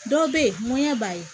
Dɔw bɛ yen ŋɔɲɛ b'a ye